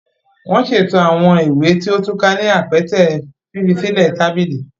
Wọn ṣeto awọn ìwé tí o túká ni awọn apẹtẹ fifisilẹ tabili.